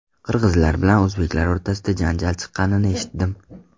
Qirg‘izlar bilan o‘zbeklar o‘rtasida janjal chiqqanini eshitdim.